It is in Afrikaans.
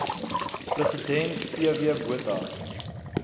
president pw botha